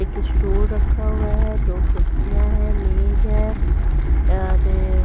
एक इस्टूल रखा हुआ है दो कुर्सियाँ हैं मेज है और --